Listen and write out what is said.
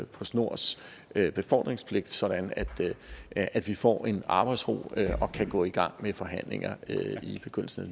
postnords befordringspligt sådan at at vi får arbejdsro og kan gå i gang med forhandlinger i begyndelsen